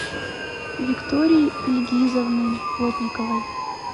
виктории ильгизовны плотниковой